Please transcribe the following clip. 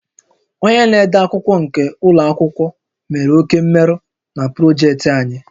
Onye na-ede akwụkwọ nke ụlọ akwụkwọ mere oke mmerụ na projektị anyị